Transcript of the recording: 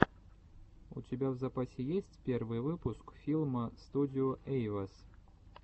у тебя в запасе есть первый выпуск филма студио эйвэс